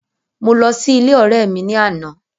Mo lọ sí ilé ọ̀rẹ́ mi ní àná.